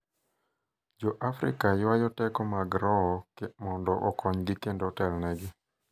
Joafrika ywayo teko mag roho mondo okonygi kendo otelnegi.